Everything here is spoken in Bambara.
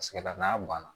Sigida n'a banna